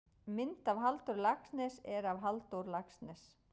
mynd af halldóri laxness er af halldór laxness